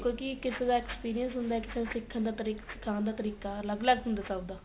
ਕਿਉ ਕਿ ਕਿਸੇ ਦਾ experience ਹੁੰਦਾ ਕੀ ਕੋਈ ਸਿਖਣ ਦਾ ਤਰੀਕਾ ਅੱਲਗ ਅੱਲਗ ਹੁੰਦਾ ਸਭ ਦਾ